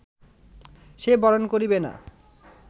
সে বরণ করিবে না